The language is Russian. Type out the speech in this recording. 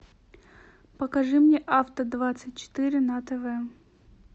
покажи мне авто двадцать четыре на тв